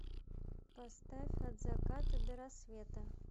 поставь от заката до рассвета